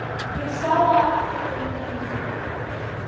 Ég sá á eftir þeim inn.